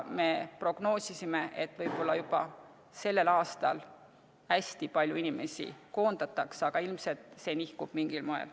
Me prognoosisime, et võib-olla juba sellel aastal hästi palju inimesi koondatakse, aga ilmselt see nihkub mingil moel.